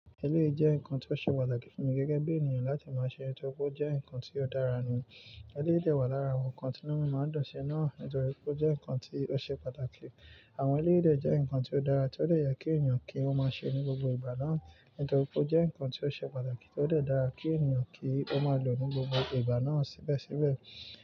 Eléyìí jẹ́ nǹkan tó ṣe pàtàkì fún mi gẹ́gẹ́ bí ènìyàn láti máa ṣe, nítorí pé ó jẹ́ nǹkan tí ó dára ni. Eléyìí dẹ̀ wà lára àwọn ǹkan tí nú máa ń dùn ṣi náà, nítorí pé ó jẹ́ ǹkan tó ṣe pàtàkì. Àwọn eléyìí dẹ̀ jẹ́ ǹkan tí ó dára tí ó dẹ̀ yẹ kí ènìyàn kí ó máa ṣe ní gbogbo ìgbà náà, nítorí pé ó jẹ́ ǹkan tí ó ṣe pàtàkì tí ó lè dára kí ènìyàn kí ó máa lò ní gbogbo ìgbà náà síbẹ̀síbẹ̀.